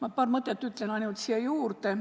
Aga ütlen ainult paar mõtet siia juurde.